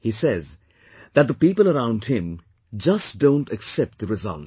He says that the people around him just don't accept the results